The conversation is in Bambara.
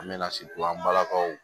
An bɛ na balakaw